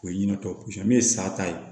O ye ɲinɛ tɔ ne ye sa ta ye